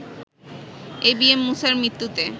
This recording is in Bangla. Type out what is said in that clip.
এবিএম মূসার মৃত্যুতে